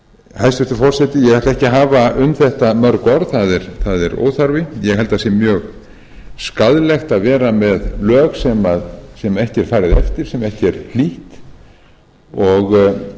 hæstvirtur forseti ég ætla ekki að hafa um þetta mörg orð það er óþarfi ég held að það sé mjög skaðlegt að vera með lög sem ekki er farið eftir sem ekki er hlýtt og